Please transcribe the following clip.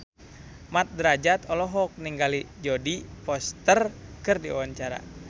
Mat Drajat olohok ningali Jodie Foster keur diwawancara